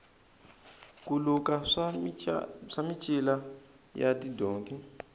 ku luka swa micila ya tidonki